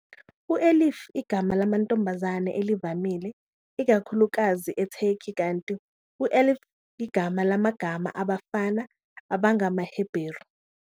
U-Elif igama lamantombazane elivamile, ikakhulukazi eTurkey, kanti u-Aleph igama lamagama abafana abangamaHeberu.